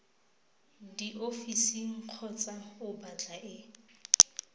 diofising kgotsa o batla e